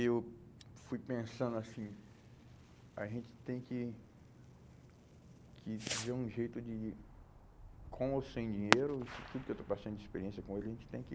Eu fui pensando assim, a gente tem que que ver um jeito de, com ou sem dinheiro, isso tudo que eu estou passando de experiência com ele, a gente tem que...